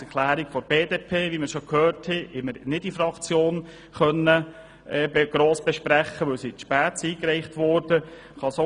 Die Planungserklärungen der BDP haben auch wir in der Fraktion nicht gross besprochen, weil sie zu spät eingereicht wurden.